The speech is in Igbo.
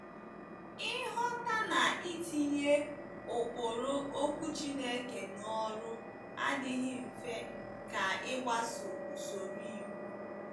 Ịghọta na itinye ụkpụrụ Okwu Chineke n’ọrụ adịghị mfe ka ịgbaso usoro iwu.